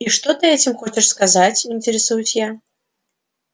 и что ты этим хочешь сказать интересуюсь я